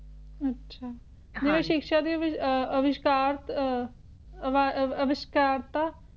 ਅੱਛਾ ਜਿਹੜੀ ਸ਼ਿਕਸ਼ਾ ਦੇ ਵਿਚ ਅਹ ਅਵਿਸ਼ਕਾਰਤ ਅਵਿਸ਼੍ਕਾਰਤਾ